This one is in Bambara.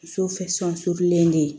len de ye